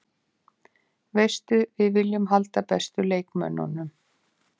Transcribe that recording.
Veistu, við viljum halda bestu leikmönnunum.